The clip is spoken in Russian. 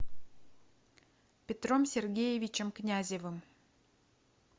петром сергеевичем князевым